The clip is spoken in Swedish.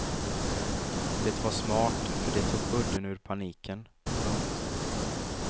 Det var smart för det tog udden ur paniken. punkt